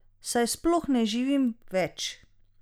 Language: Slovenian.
Saj sploh ne živim več!